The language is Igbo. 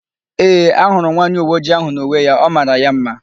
Ee, ahụrụ m nwaanyị uweojii áhụ̀ n'uwe ya; ọ mara ya ḿmá.